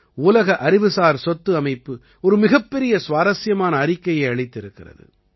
உலக அறிவுசார் சொத்து அமைப்பு ஒரு மிகப்பெரிய சுவாரசியமான அறிக்கையை அளித்திருக்கிறது